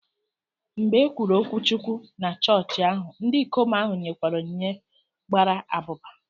Mgbe e kwusịrị okwuchukwu na chọọchị ahụ, ndị ikom ahụ nyekwara onyinye gbara abụba